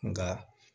Nka